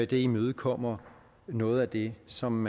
det imødekommer noget af det som